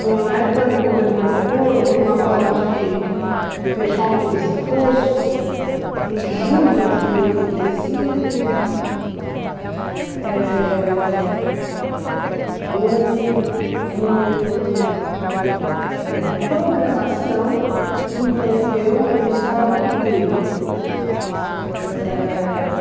No na época do governo Montoro, como uma forma de fechar um pouco esse fosso, em julho de oitenta e cinco, eh houve um uma programação que envolveu o Estado inteiro. Eh...